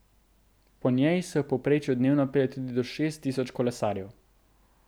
Po njej se v povprečju dnevno pelje tudi do šest tisoč kolesarjev.